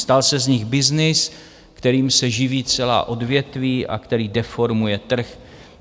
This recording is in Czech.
Stal se z nich byznys, kterým se živí celá odvětví a který deformuje trh.